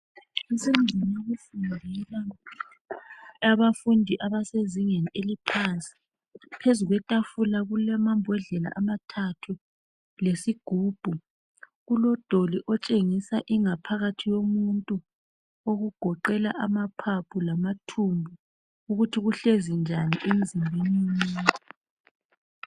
Kusendlini yokufundela abafundi abasezingeni eliphansi phezulu kwetafula kulamambodlela amathathu lesigubhu kulodoli otshengisa ingaphakathi yomuntu okugoqela amaphaphu lamathumbu ukuthi kuhlezi njani emzimbeni womuntu.